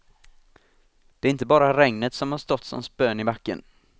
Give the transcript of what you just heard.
Det är inte bara regnet som har stått som spön i backen.